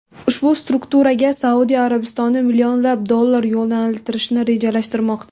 Ushbu strukturaga Saudiya Arabistoni millionlab dollar yo‘naltirishni rejalashtirmoqda.